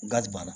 Gari banna